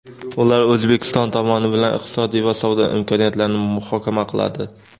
Ular O‘zbekiston tomoni bilan iqtisodiy va savdo imkoniyatlarini muhokama qiladi.